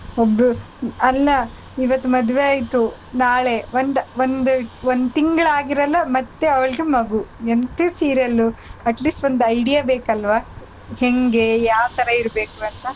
ಒಬ್ರು ಅಲ್ಲ ಇವತ್ ಮದ್ವೆ ಆಯ್ತು ನಾಳೆ ಒಂದ್ ಒಂದ್ ಒಂದ್ ತಿಂಗ್ಳ್ ಆಗಿರಲ್ಲ ಮತ್ತೆ ಅವ್ಳಿಗೆ ಮಗು ಎಂತ serial ಲು at least ಒಂದ್ idea ಬೇಕಲ್ವಾ ಹೆಂಗೆ ಯಾವ್ ತರ ಇರ್ಬೇಕಂತ.